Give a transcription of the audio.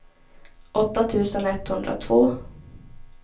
åtta tusen etthundratvå